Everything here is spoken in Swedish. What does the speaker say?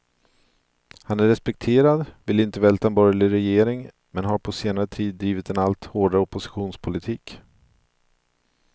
Han är respekterad, vill inte välta en borgerlig regering, men har på senare tid drivit en allt hårdare oppositionspolitik.